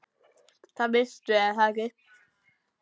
Það veistu er það ekki?